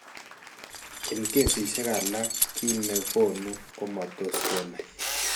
En kesiisyek alak kiiy ne koonu komatos kenay